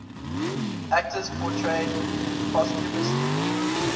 actors portrayed posthumously